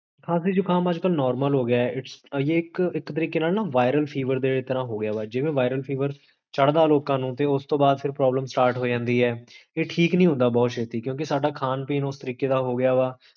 ਖਾਂਸੀ ਜੁਖਾਮ ਅੱਜ ਕਲ ਨੋਰਮਲ ਹੋਗਿਆ ਹੈ ਇਹ ਇਕ ਤਰੀਕੇ ਨਾਲ ਨਾ virul fever ਦੇ ਤਰਹ ਹੋਗਿਆ ਵਾ ਜਿਵੇਂ virul fever ਚੜਦਾ ਲੋਕਾਂ ਨੂੰ ਤੇ ਓਸ ਤੋ ਬਾਦ ਫੇਰ ਪ੍ਰੋਬਲਮ ਸਟਾਰਟ ਹੋਜਾਂਦੀ ਹੈ ਇਹ ਠੀਕ ਨੀ ਹੁੰਦਾ ਬੋਹਤ ਛੇਤੀ, ਕਿਓਂਕਿ ਸਾਡਾ ਖਾਨ ਪੀਣ ਉਸ ਤਰੀਕੇ ਦਾ ਹੋਗਿਆ ਵਾ